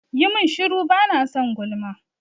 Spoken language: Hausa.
Yi mun shuru! bana son gulma.